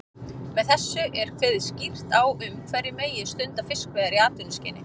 Með þessu er kveðið skýrt á um hverjir megi stunda fiskveiðar í atvinnuskyni.